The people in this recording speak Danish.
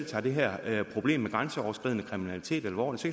tager det her problem med grænseoverskridende kriminalitet alvorligt så